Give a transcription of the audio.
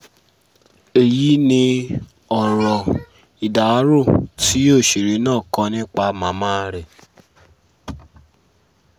èyí ni ọ̀rọ̀ ìdárò tí òṣèré náà kọ nípa màmá rẹ̀